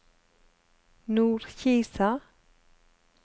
Nordkisa